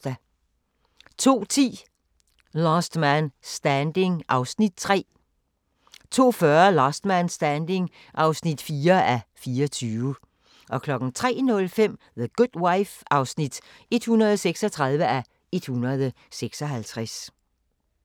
02:10: Last Man Standing (Afs. 3) 02:40: Last Man Standing (4:24) 03:05: The Good Wife (136:156)